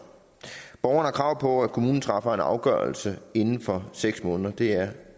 borgeren har krav på at kommunen træffer en afgørelse inden for seks måneder det er